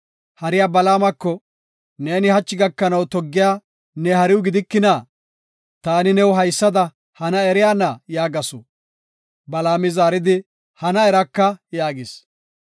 Hariya Balaamako, “Neeni hachi gakanaw toggiya ne hariw gidikina? Taani new haysada hana eriyana?” yaagasu. Balaami zaaridi, “Hana eraka” yaagis.